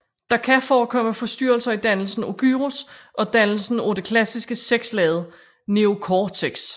Der kan forekomme forstyrrelser i dannelsen af gyrus og dannelsen af det klassiske seks laget neocortex